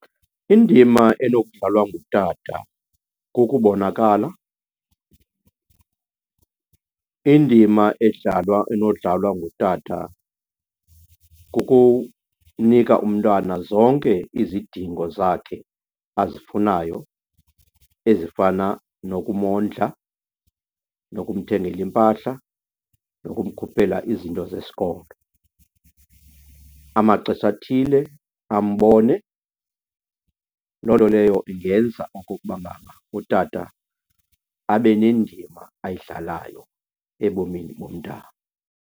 Indima enokudlalwa ngutata kukubonakala. Indima edlalwa, enodlalwa ngutata kukunika umntana zonke izidingo zakhe azifunayo ezifana nokumondla, nokumthengela iimpahla, nokumkhuphela izinto zesikolo, amaxesha athile ambone. Loo nto leyo ingenza okokuba ngaba utata abe nendima ayidlalayo ebomini bomntana.